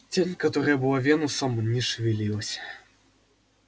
тень которая была венусом не шевелилась